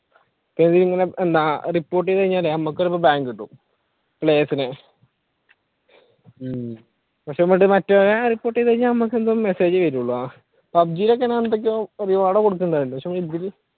അതിങ്ങനെ എന്താ report ചെയ്തു കഴിഞ്ഞാൽ നമ്മുക്ക് ചിലപ്പോൾ ban കിട്ടും players ന്